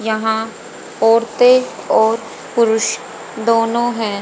यहां औरतें और पुरुष दोनों हैं।